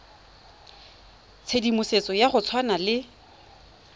tshedimosetso ya go tshwana le